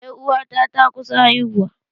Ƴar uwata ta kusa haihuwa.